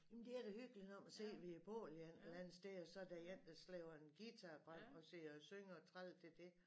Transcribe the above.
Jamen det er da hyggeligt når man sidder ved et bål et eller andet sted og så der end er slæber en guitar frem og sidder og synger og træder til det